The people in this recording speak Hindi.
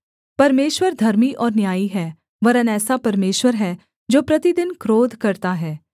परमेश्वर धर्मी और न्यायी है वरन् ऐसा परमेश्वर है जो प्रतिदिन क्रोध करता है